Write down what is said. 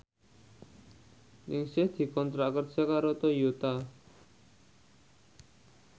Ningsih dikontrak kerja karo Toyota